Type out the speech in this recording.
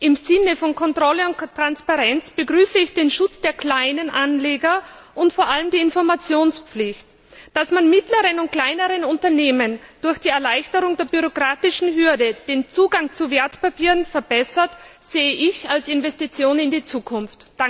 Im Sinne von Kontrolle und Transparenz begrüße ich den Schutz der kleinen Anleger und vor allem die Informationspflicht. Dass man mittleren und kleineren Unternehmen durch die Erleichterung der bürokratischen Hürde den Zugang zu Wertpapieren verbessert, sehe ich als Investition in die Zukunft.